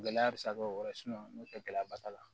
Gɛlɛya bɛ se ka kɛ o yɔrɔ n'o tɛ gɛlɛya ba t'a la